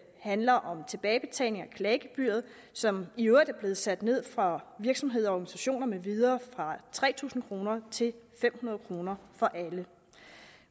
handler om tilbagebetaling af klagegebyret som i øvrigt er blevet sat ned for virksomheder og organisationer med videre fra tre tusind kroner til fem hundrede kroner for alle